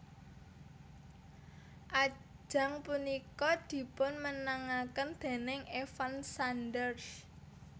Ajang punika dipunmenangaken déning Evan Sanders